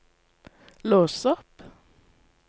lås opp